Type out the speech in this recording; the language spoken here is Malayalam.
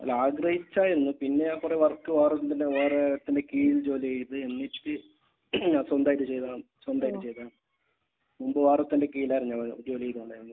അല്ല. ആഗ്രഹിച്ചായിരുന്നു. പിന്നെ ഞാൻ കുറെ വർക്ക് വേറെന്തിനോ വേറെ ഒരുത്തന്റെ കീഴിൽ ജോലി ചെയ്ത്. എന്നിട്ട് സ്വന്തമായിട്ട് ചെയ്തതാണ്. സ്വന്തമായിട്ട് ചെയ്തതാണ്. മുൻപ് വേറെ ഒരുത്തന്റെ കീഴിലായിരുന്നു ഞങ്ങൾ ജോലി ചെയ്തുകൊണ്ടിരുന്നത്.